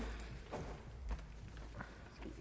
er